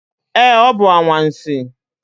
Ee, ọ bụ anwansi.